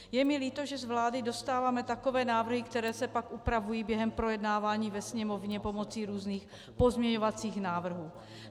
Je mi líto, že z vlády dostáváme takové návrhy, které se pak upravují během projednávání ve Sněmovně pomocí různých pozměňovacích návrhů.